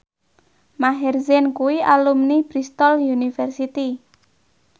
Maher Zein kuwi alumni Bristol university